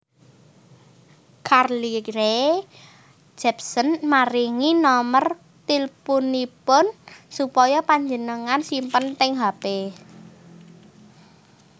Carly Rae Jepsen maringi nomer tilpunipun supaya panjenengan simpen teng hp